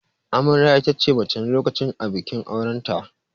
Amarya itace mace na lokacin a bikin auranta.